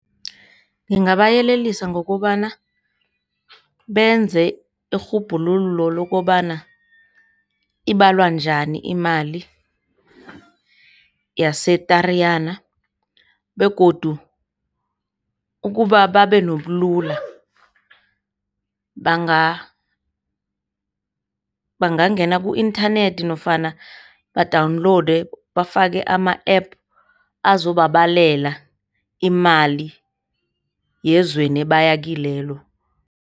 Ngingabayelelisa ngokobana benze irhubhululo lokobana ibalwa njani imali yaseTariyana, begodu ukubababe nobulula bangangena ku-inthanethi nofana badawunilonde bafake ama-App azobabalela imali yezweni abayakilwelo.